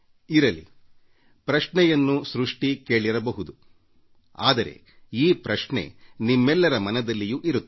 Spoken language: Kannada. ಈಪ್ರಶ್ನೆಯನ್ನು ಸೃಷ್ಟಿ ಕೇಳಿರಬಹುದು ಆದರೆ ಈ ಪ್ರಶ್ನೆ ನಿಮ್ಮೆಲ್ಲರ ಮನದಲ್ಲಿಯೂ ಇರುವುದಾಗಿದೆ